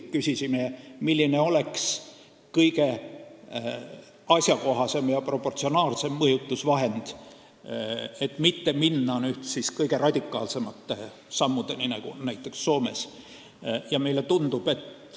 Küsisime, milline oleks kõige asjakohasem ja proportsionaalsem mõjutusvahend, et mitte minna kõige radikaalsemate sammudeni, nii nagu näiteks Soomes on.